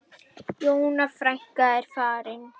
Jóna frænka er farin.